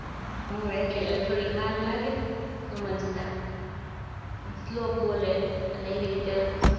એટલે થોડીક વાર લાગે સમજતા શ્લોક બોલે અને એવી રીતે